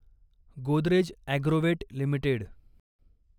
Godrej Agrovet limited